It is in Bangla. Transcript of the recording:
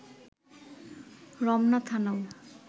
রমনা থানাও